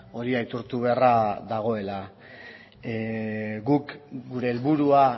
hori aitortu beharra dagoela guk gure helburua